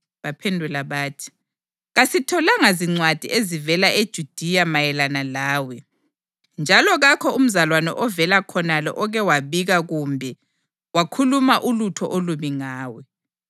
Baphendula bathi, “Kasitholanga zincwadi ezivela eJudiya mayelana lawe, njalo kakho umzalwane ovela khonale oke wabika kumbe wakhuluma ulutho olubi ngawe.